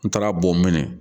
N taara boomin